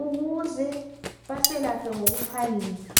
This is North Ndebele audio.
ukuze basilaphe ngokuphangisa